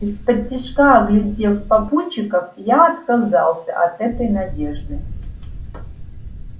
исподтишка оглядев попутчиков я отказался от этой надежды